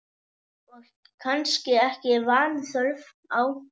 Og kannski ekki vanþörf á.